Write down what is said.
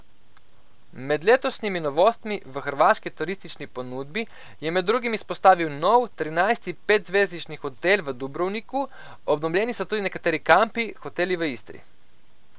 Med letošnjimi novostmi v hrvaški turistični ponudbi je med drugim izpostavil nov, trinajsti petzvezdični hotel v Dubrovniku, obnovljeni so tudi nekateri kampi, hoteli v Istri.